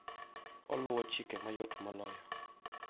Oluwo chike mayot moloyo